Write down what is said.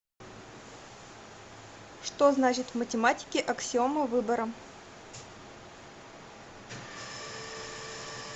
что значит в математике аксиома выбора